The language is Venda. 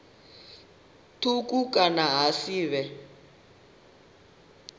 thukhu kana ha si vhe